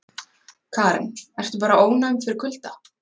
Karen: Ertu bara ónæm fyrir kulda?